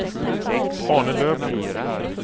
Arne Lövgren